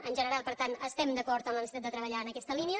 en general per tant estem d’acord en la necessitat de treballar en aquesta línia